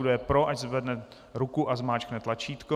Kdo je pro, ať zvedne ruku a zmáčkne tlačítko.